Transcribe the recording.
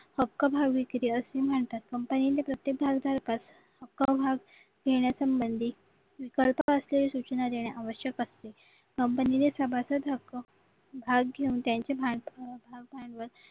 हक्क भाव विक्री असे ही म्हणतात कंपनीला प्रत्येक अख्खा भाग घेण्यासंबंधी सूचना देणे आवश्यक असते कंपनीने सभासद हक्क भाग घेऊन द्यायचे